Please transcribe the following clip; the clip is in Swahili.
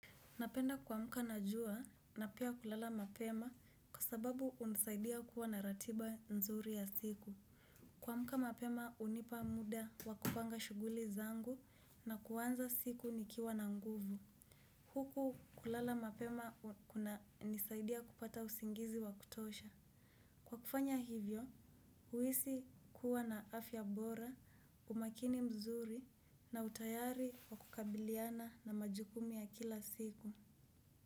Napenda kuamuka na jua na pia kulala mapema kwa sababu hunisaidia kuwa na ratiba mzuri ya siku. Kuamka mapema hunipa muda wa kupanga shughuli zangu na kuanza siku nikiwa na nguvu. Huku kulala mapema kunanisaidia kupata usingizi wa kutosha. Kwa kufanya hivyo, huisi kuwa na afya bora, umakini mzuri na utayari wakukabiliana na majukumu ya kila siku.